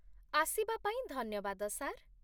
ଆସିବା ପାଇଁ ଧନ୍ୟବାଦ, ସାର୍।